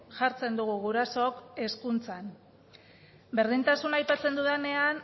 jartzen dugu gurasook hezkuntzan berdintasuna aipatzen dudanean